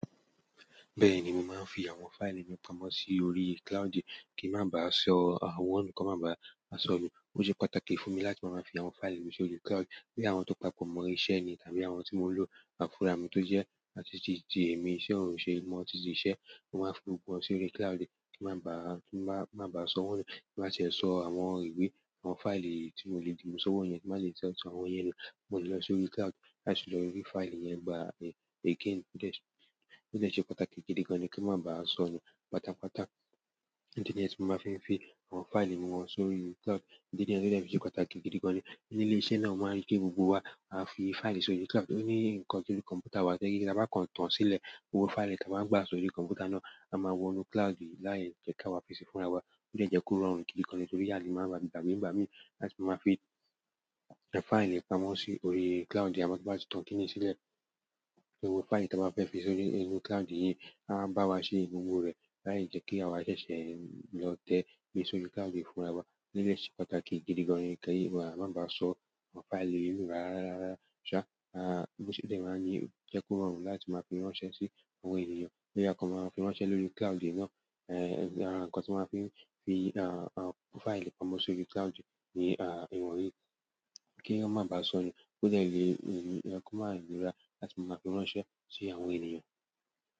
Bẹ́ẹ̀ni, mò n fi àwọn fáìlì mi pamọ́ sí orí cloud kí má bàá sọ àwọn ǹkan má bàá sọ nu. Ó sẹ́ pàtàkì fún mi láti ma máa fi àwọn fáìlì mi sórí cloud. Bí àwọn tó papọ̀ mo iṣẹ́ ni tàbí àwọn tí mo ń lò fúrà mi tó jẹ́ àti tíì tí èmi ṣẹ̀ òun ṣe, mo ti ṣìíṣẹ́, mo máa fi gbogbo wọn sórí cloud kí má bàá, má bàá sọ wọ́n nu tí bá tie sọ àwọn ìwé, àwọn fáìlì tí mo le di mú sọ́wọ́ yẹn, tí n bá le tiè so àwọn yẹn nu mo le lo sórí cloud láti lọ rí fáìlì yẹn gbá mi again bó ti ń ṣe pàtàkì gidi gan-an kí má bàá sọ nu. Pátápátá, ìdi niyen ti mó máa fi ń fi àwọn fáìlì mi wọn sórí cloud. Ìdí nìyẹn tí ó de fi sẹ́ pàtàkì gidi gan-an ni níle ilé-iṣẹ́ náà, ó máa rí pé gbogbo wa a fi fáìlì sórí cloud. Ó ní ǹkan sórí kọ̀m̀pútà wa tojepe tí a bá kàn tán sílẹ̀, gbogbo fáìlì tí a bá gbà sórí kọ̀m̀pútà náà, a máa wọnú cloud yi láije ki awa fi si fún rawa wa. Ó jẹ́ jẹ́ kó rọrùn gidi gan-an torí àlè máa gbàgbé nígbà mí láti máa fi fáìlì pamọ́ sí orí cloud. A máa gbà tìtan kinni sílẹ̀. Òwe fáìlì tí a bá fẹ́ fi sórí inú cloud yìí á bá wa ṣe gbogbo rẹ̀ láì jẹ́ kí àwa ṣẹ̀ṣẹ̀ lọ tẹ́ gbé sórí cloud fún ara wa. Ní de se pàtàkì gidi gan-an kí èmi má bàá sọ àwọn fáìlì yi nu rárá rárá. Sha, oje ko ma rọrùn láti fi ránṣẹ́ si àwọn ènìyàn tí a kán máa fi ránṣẹ́ lórí cloud náà, ẹ̀ ara nǹkan tí máa fi ń fi àwọn fáìlì pamọ́ sórí cloud ní ìwọ̀n yìí. Kí ó má bàá sọ nu bó ti lè rí ǹkan máa rí rárá láti máa fi ránṣẹ́ sí àwọn ènìyàn.